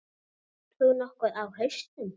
Ert þú nokkuð á hausnum?